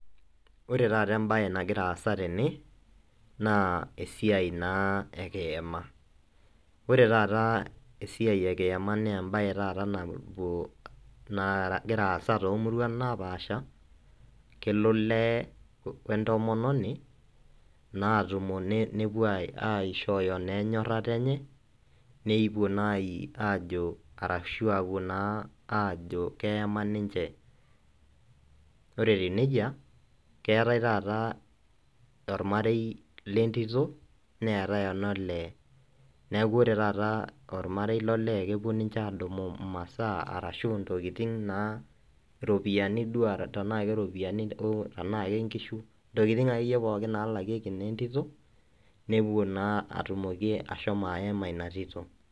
Ore taata ebae nagira aasa tene naa esiai naa ekiyama. Ore taata esiai ekiyama naa ebae taata napuo nagira aasa tomuruan naapasha elo olee wee ntomononi naa atumo nepuo aishooyo naa enyorata enye nepuo naa ajo arashu nepuo naa ajo keyama ninche. Ore etiu nejia keetae taata ormarei letito neetae ololee neaku ore taata ormarei lolee kepuo ninche adumu masaa arashu intokitin naa, iropiyani duo tenaa keropiyani duo, tenaa kenkishu. Intokitin akeyie pookin nalakieki naa etito nepuo naa atumoki ashomo ayama ina tito.